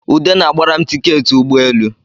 Ude na-gbara m tiketị ụgbọelu